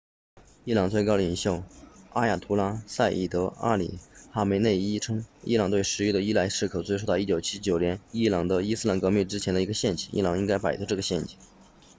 伊朗最高领袖阿亚图拉赛义德阿里哈梅内伊 ayatollah ali khamenei 称伊朗对石油的依赖是可追溯到1979年伊朗伊斯兰革命之前的一个陷阱伊朗应该摆脱这个陷阱